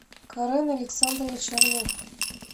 карен александрович орлов